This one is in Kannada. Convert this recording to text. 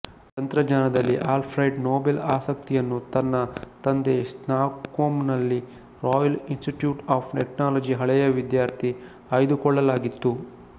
ತಂತ್ರಜ್ಞಾನದಲ್ಲಿ ಆಲ್ಫ್ರೆಡ್ ನೊಬೆಲ್ ಆಸಕ್ತಿಯನ್ನು ತನ್ನ ತಂದೆ ಸ್ಟಾಕ್ಹೋಮ್ನಲ್ಲಿ ರಾಯಲ್ ಇನ್ಸ್ಟಿಟ್ಯೂಟ್ ಆಫ್ ಟೆಕ್ನಾಲಜಿ ಹಳೆಯ ವಿದ್ಯಾರ್ಥಿ ಆಯ್ದುಕೊಳ್ಳಲಾಗಿತ್ತು